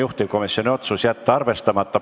Juhtivkomisjoni otsus: jätta arvestamata.